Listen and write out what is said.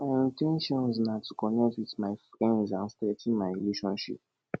my in ten tion na to connect with friends and strengthen my relationships